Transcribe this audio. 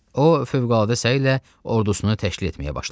O fövqəladə səylə ordusunu təşkil etməyə başladı.